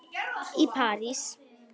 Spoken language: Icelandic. í París.